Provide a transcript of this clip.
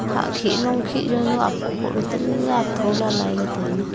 hakhi long khi zaunu apho pho le talle athola laila tailey.